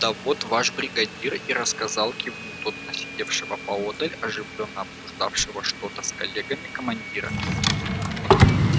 да вот ваш бригадир и рассказал кивнул тот на сидевшего поодаль и оживлённо обсуждавшего что-то с коллегами командира